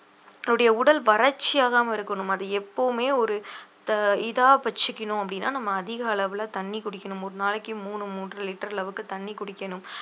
தன்னுடைய உடல் வறட்சியாகாமல் இருக்கணும் அது எப்பவுமே ஒரு இத இதா வச்சுக்கணும் அப்படின்னா நம்ம அதிக அளவுல தண்ணி குடிக்கணும் ஒரு நாளைக்கு மூணு மூன்ற லிட்டர் அளவுக்கு தண்ணி குடிக்கணும்